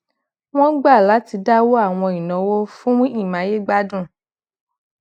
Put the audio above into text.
wón gbà láti dáwó awọn inawo fun imayegbadun